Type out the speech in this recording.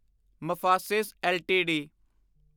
Mphasis LTD